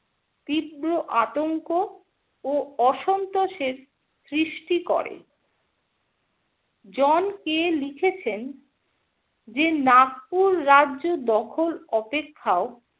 তীব্র আতঙ্ক ও অসন্তোষের সৃষ্টি করে । জন. কে. লিখেছেন যে নাগপুর রাজ্য দখল অপেক্ষাও